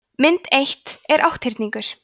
mynd eitt er átthyrningur